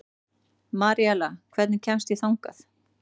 Maríella, hvernig kemst ég þangað?